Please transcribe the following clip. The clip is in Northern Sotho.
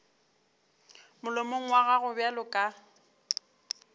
molomong wa gago bjalo ka